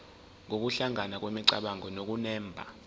nokuhlangana kwemicabango nokunemba